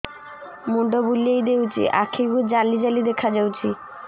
ମୁଣ୍ଡ ବୁଲେଇ ଦେଉଛି ଆଖି କୁ ଜାଲି ଜାଲି ଦେଖା ଯାଉଛି